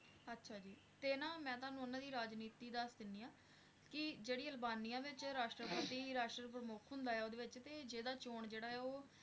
ਅੱਛਾ ਜੀ ਤੇ ਨਾ ਮੈਂ ਤੁਹਾਨੂੰ ਓਹਨਾ ਦੀ ਰਾਜਨੀਤੀ ਦਸ ਦਿਨੀ ਆ ਕਿ ਜਿਹੜੀ ਅਲਬਾਨੀਆ ਵਿਚ ਰਾਸ਼ਟਰਪਤੀ ਰਾਸ਼ਟਰ ਪ੍ਰਮੁੱਖ ਹੁੰਦਾ ਆ ਤੇ ਜਿਹੜਾ ਚੋਣ ਜਿਹੜਾ ਆ ਉਹ